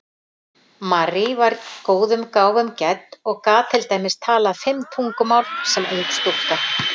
Marie var góðum gáfum gædd og gat til dæmis talað fimm tungumál sem ung stúlka.